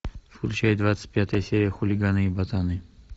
включай двадцать пятая серия хулиганы и ботаны